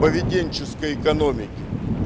поведенческой экономики